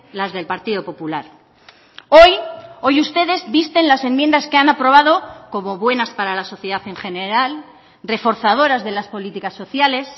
las del partido popular hoy hoy ustedes visten las enmiendas que han aprobado como buenas para la sociedad en general reforzadoras de las políticas sociales